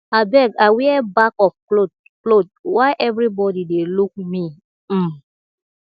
abeg i wear back of cloth cloth why everybody dey look me um